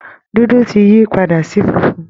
Dúdú ti yí padà di funfun